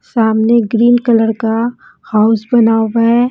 सामने green colour का house बना हुआ है।